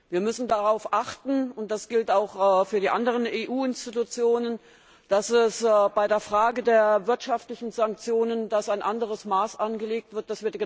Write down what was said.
Wir müssen darauf achten und das gilt auch für die anderen EU Institutionen dass bei der Frage der wirtschaftlichen Sanktionen ein anderes Maß angelegt wird.